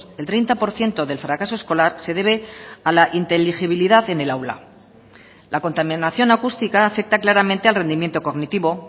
el treinta por ciento del fracaso escolar se debe a la inteligibilidad en el aula la contaminación acústica afecta claramente al rendimiento cognitivo